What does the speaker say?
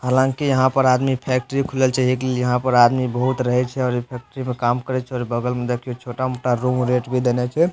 हालांकि यहाँ पर आदमी फैक्ट्री खुलल छै एक ले यहाँ पर आदमी बहुत रहे छै और इ फैक्ट्री में काम करइ छै और बगल में देखियो छोटा-मोटा रूम रेंट भी देने छे।